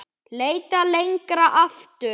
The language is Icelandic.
Leitað lengra aftur.